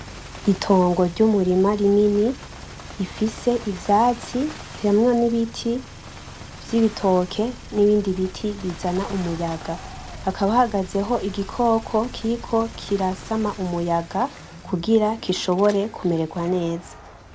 Itongo ry'umurima rinini rifise ivyatsi, harimwo n'ibiti vy’ibitoke nibindi biti bizana umuyaga, hakaba hahagazeho igikoko kiriko kirasama umuyaga kugira gishobore kumererwa neza.